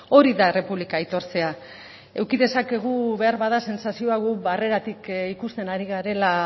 hori da errepublika aitortzea eduki dezakegu beharbada sentsazioa guk barreratik ikusten ari garela